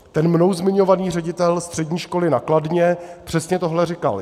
Ten mnou zmiňovaný ředitel střední školy na Kladně přesně tohle říkal.